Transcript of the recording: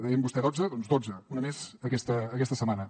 deia vostè dotze doncs dotze una més aquesta setmana